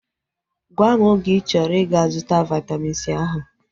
Gwam oge ịchọrọ ịga-zụta Vaitamin C ahu